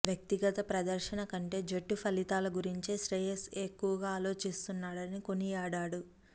వ్యక్తిగత ప్రదర్శన కంటే జట్టు ఫలితాల గురించే శ్రేయస్ ఎక్కువగా ఆలోచిస్తాడని కొనియాడాడు